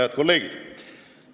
Head kolleegid!